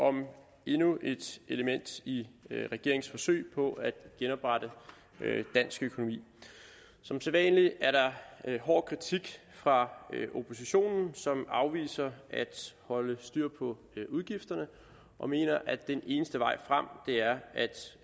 om endnu et element i regeringens forsøg på at genoprette dansk økonomi som sædvanlig er der hård kritik fra oppositionen som afviser at holde styr på udgifterne og mener at den eneste vej frem er